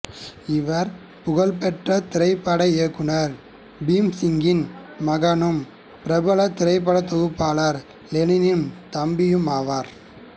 இவர் புகழ்பெற்ற திரைப்பட இயக்குநர் பீம்சிங்கின் மகனும் பிரபல திரைப்படத் தொகுப்பாளர் லெனினின் தம்பியும் ஆவார்